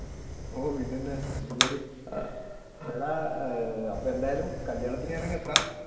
ഓഹ് പിന്നെന്താ നീ പോര് എടാ അപ്പ എന്തായാലും കല്യാണത്തിന് ഞാൻ അങ്ങ് എത്താം.